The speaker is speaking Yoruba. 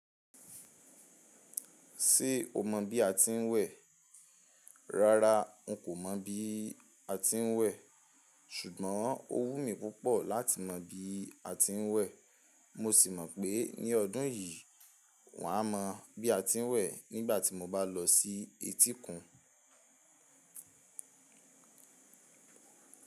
Ṣé o mọ bí a ti ń wẹ̀? Rárá n kò mọ bí a ti ń wẹ̀, ṣùgbọ́n ó wù mí púpọ̀ láti mọ bí a ti ń wẹ̀, mo sì mọ̀ pé ní ọdún yìí, wàá mọ bí a ti ń wẹ̀ nígbàtí mo bá lọ sí etíkun.